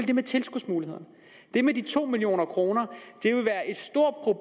det med tilskudsmulighederne med de to million kroner